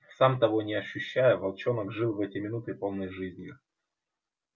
сам того не ощущая волчонок жил в эти минуты полной жизнью